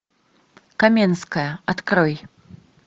каменская открой